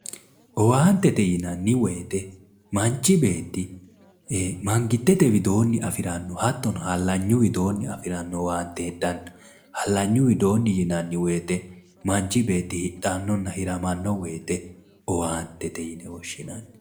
Owaantete yinnanni woyte manchi beetti magitete widooni afirano hattono halanyu widooni afirano owaante heedhano ,halanyu widooni yinnanni woyte manchi beetti hidhano hiramano woyte owaantete yinne woshshinanni